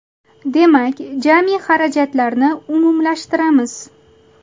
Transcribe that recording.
Demak, jami xarajatlarni umumlashtiramiz.